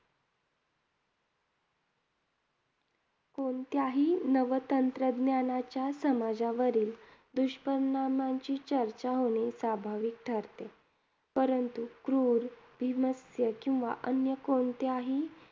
कोणत्याही नवतंत्रज्ञानाच्या समाजावरील दुष्परिणामांची चर्चा होणे स्वाभाविक ठरते. परंतु क्रूर, बीभत्स्य किंवा अन्य कोणत्याही